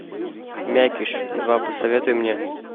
мякиш два посоветуй мне